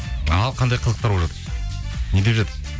ал қандай қызықтар болып жатыр не деп жатыр